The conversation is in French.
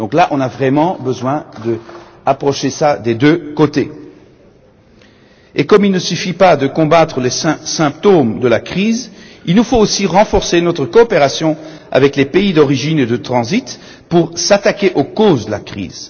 Nous avons vraiment besoin de considérer cette question des deux côtés. Et comme il ne suffit pas de combattre les symptômes de la crise, il convient aussi de renforcer notre coopération avec les pays d'origine et de transit pour s'attaquer aux causes de la crise.